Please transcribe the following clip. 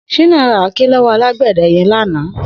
Shina rà àáké lọwọ àlágbẹ̀dẹ̀ yẹ̀n làná